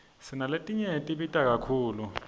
sinaletinye tibita kakhulu